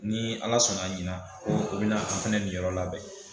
Ni ala sɔna ɲinan ko o bi na an fɛnɛ niyɔrɔ labɛn